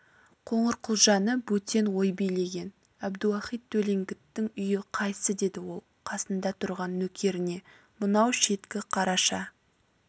қоңырқұлжаны бөтен ой билеген әбдіуақит төлеңгіттің үйі қайсы деді ол қасында тұрған нөкеріне мынау шеткі қараша